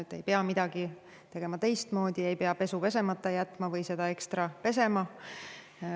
Te ei pea midagi tegema teistmoodi, ei pea pesu pesemata jätma või seda ekstra pesema.